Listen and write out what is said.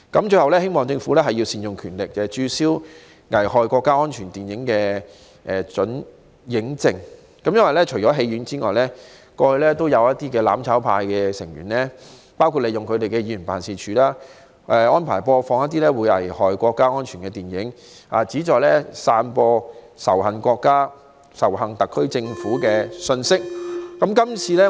最後，我希望政府能善用權力，註銷危害國家安全電影的准映證，因為除戲院外，過去也有"攬炒派"議員利用其辦事處播放危害國家安全的電影，旨在散播仇恨國家、仇恨特區政府的信息。